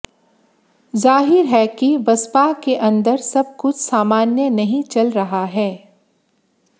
जाहिर है कि बसपा के अंदर सब कुछ सामान्य नहीं चल रहा है